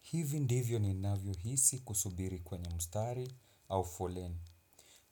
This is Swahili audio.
Hivi ndivyo ninavyo hisi kusubiri kwenye mstari au foleni.